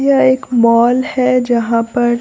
यह एक मॉल है जहां पर--